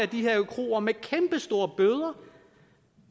de her kroer med kæmpestore bøder